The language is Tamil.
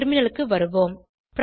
டெர்மினலுக்கு வருவோம்